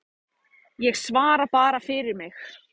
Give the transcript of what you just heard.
Ég svara bara fyrir mig.